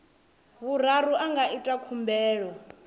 vhuraru a nga ita khumbelo